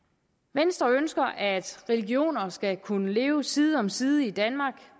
venstre ønsker at religioner skal kunne leve side om side i danmark